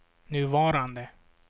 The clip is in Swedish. nuvarande